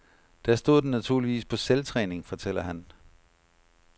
Der stod den naturligvis på selvtræning, fortæller han.